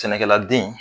Sɛnɛkɛladen